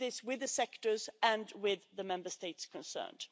We do this with the sectors and with the Member States concerned.